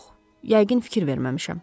Yox, yəqin fikir verməmişəm.